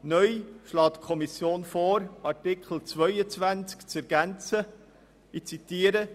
Neu schlägt die Kommission vor, Artikel 22 wie folgt zu ergänzen: